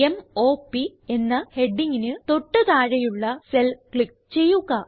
m o പ് എന്ന ഹെഡിംഗിന് തൊട്ട് താഴെയുള്ള സെൽ ക്ലിക്ക് ചെയ്യുക